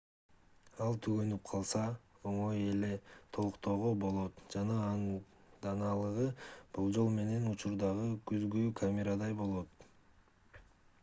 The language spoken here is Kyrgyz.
ал түгөнүп калса оңой эле толуктоого болот жана анын дааналыгы болжол менен учурдагы күзгүлүү камерадай болот